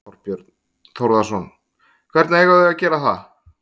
Þorbjörn Þórðarson: Hvernig eiga þau að gera það?